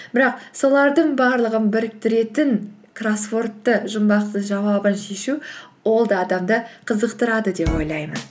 бірақ солардың барлығын біріктіретін кроссвордты жұмбақтың жауабын шешу ол да адамды қызықтырады деп ойлаймын